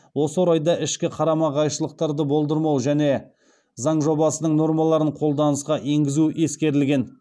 осы орайда ішкі қарама қайшылықты болдырмау және заң жобасының нормаларын қолданысқа енгізу ескерілген